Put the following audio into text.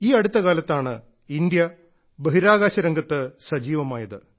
ഈ അടുത്ത കാലത്താണ് ഇന്ത്യ ബഹിരാകാശ രംഗത്ത് സജീവമായത്